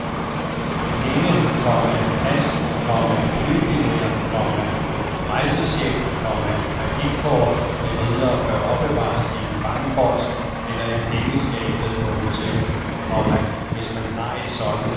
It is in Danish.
Penge, komma pas, komma flybilletter, komma rejsechecks, komma kreditkort med videre bør opbevares i en bankboks eller i pengeskabet på hotellet, komma hvis man har et sådant. punktum